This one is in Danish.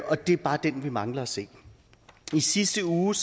og det er bare den vi mangler at se i sidste uge